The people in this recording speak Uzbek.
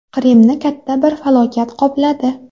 Qrimni katta bir falokat qopladi.